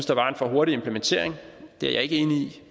der var en for hurtig implementering det er jeg ikke enig